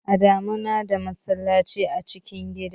A da mu na da masallaci a cikin gida